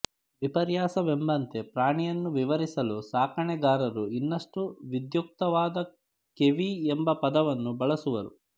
ವಿಪರ್ಯಾಸವೆಂಬಂತೆ ಪ್ರಾಣಿಯನ್ನು ವಿವರಿಸಲು ಸಾಕಣೆಗಾರರು ಇನ್ನಷ್ಟು ವಿಧ್ಯುಕ್ತವಾದ ಕೇವಿ ಎಂಬ ಪದವನ್ನು ಬಳಸುವರು